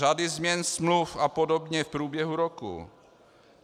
Řady změn smluv a podobně v průběhu roku.